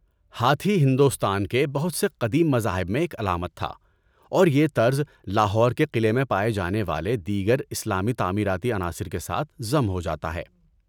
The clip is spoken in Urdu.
ہاتھی ہندوستان کے بہت سے قدیم مذاہب میں ایک علامت تھا اور یہ طرز لاہور کے قلعے میں پائے جانے والے دیگر اسلامی تعمیراتی عناصر کے ساتھ ضم ہوجاتا ہے۔